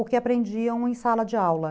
o que aprendiam em sala de aula.